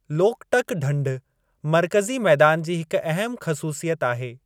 लोकटक ढंढ मर्कज़ी मैदान जी हिक अहमु ख़सूसियत आहे।